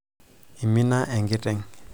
imina enkiteng